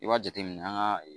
I b'a jate minɛ an ka